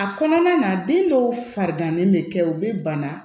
A kɔnɔna na den dɔw farigan bɛ kɛ u bɛ bana